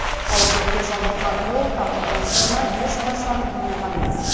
ауыр дертке шалдыққан ол тағдырдың сынына ешқашан мойыған емес